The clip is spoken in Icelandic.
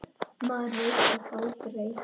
Maður veit samt aldrei.